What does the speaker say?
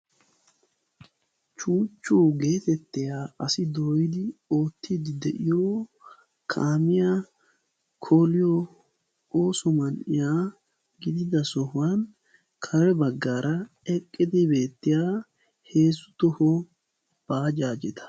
chuuchchu geetettiya asi dooyidi oottiiddi de'iyo kaamiya koliyo ooso man'iyaa gidida sohuwan kare baggaara eqqidi beettiya heezzu toho baajaajeta.